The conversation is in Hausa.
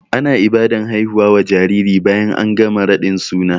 Ana Ibadan haifuwa wa jariri bayan an gama raɗin suna